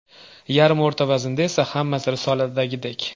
Yarim o‘rta vaznda esa hammasi risoladagidek.